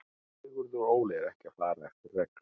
Sigurður Óli er ekki að fara eftir reglum.